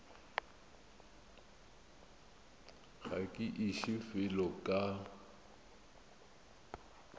ga ke iše felo ka